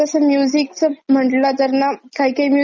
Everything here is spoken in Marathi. काही काही म्युजिक अशे फक्तच काय म्हणतात.